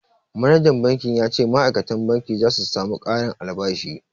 Manajan banki ya ce ma'aikatan banki za su samu ƙarin albashi